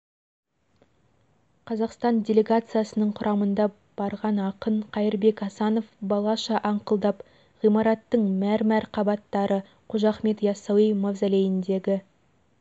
қазақстан делегациясының құрамында барған ақын қайырбек асанов балаша аңқылдап ғимараттың мәр-мәр қабаттары қожа ахмет иассауи мазолейіндегі